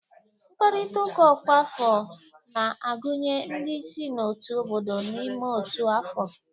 Mkpakọrịta ọkwa afọ na-agụnye ndị si n'otu obodo n'ime otu afọ